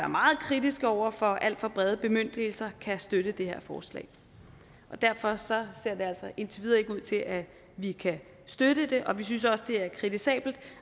meget kritiske over for alt for brede bemyndigelser kan støtte det her forslag derfor ser det altså indtil videre ikke ud til at vi kan støtte det og vi synes også det er kritisabelt